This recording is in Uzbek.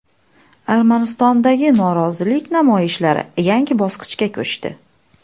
Armanistondagi norozilik namoyishlari yangi bosqichga ko‘chdi.